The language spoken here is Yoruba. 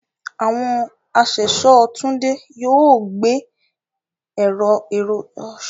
Àwọn aṣẹ̀ṣọ́ Tunde yóò gbé èrò tuntun nípa ìmọ̀ ẹ̀rọ kalẹ̀.